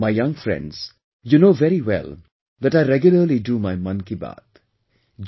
My young friends, you know very well that I regularly do my 'Mann Ki Baat'